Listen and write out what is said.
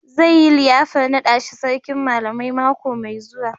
Zai yi liyafar naɗa shi Sarkin Malamai mako mai zuwa.